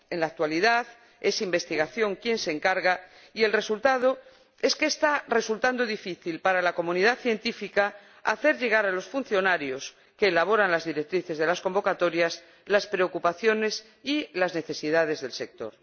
En la actualidad es la DG Investigación quien se encarga y el resultado es que está resultando difícil para la comunidad científica hacer llegar a los funcionarios que elaboran las directrices de las convocatorias las preocupaciones y las necesidades del sector.